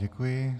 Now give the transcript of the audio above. Děkuji.